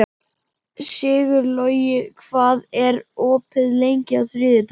Sigurlogi, hvað er opið lengi á þriðjudaginn?